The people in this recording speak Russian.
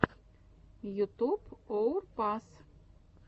ютуб уор пас